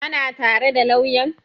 Ka na tare da lauyan?